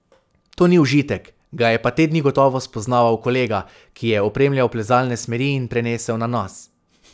To ni užitek, ga je pa te dni gotovo spoznaval kolega, ki je opremljal plezalne smeri, in prenesel na nas.